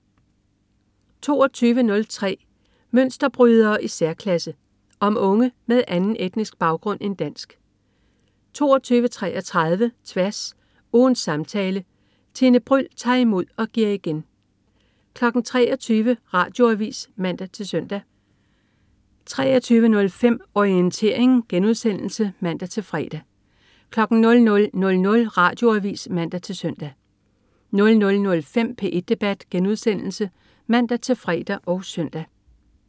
22.03 Mønsterbrydere i særklasse. Om unge med anden etnisk baggrund end dansk 22.33 Tværs. Ugens samtale. Tine Bryld tager imod og giver igen 23.00 Radioavis (man-søn) 23.05 Orientering* (man-fre) 00.00 Radioavis (man-søn) 00.05 P1 debat* (man-fre og søn)